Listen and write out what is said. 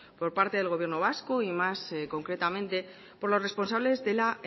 por parte del gobierno vasco y más concretamente por los responsable de la